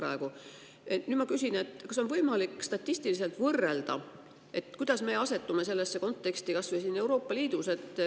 Nüüd ma küsin, kas on võimalik statistiliselt võrrelda, kuidas me asetume sellesse konteksti kas või Euroopa Liidus.